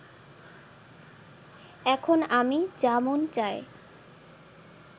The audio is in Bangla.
এখন আমি যা মন চায়